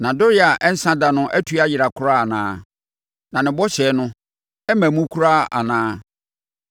Nʼadɔeɛ a ɛnsa da atu ayera koraa anaa? Na ne bɔhyɛ no, amma mu koraa anaa?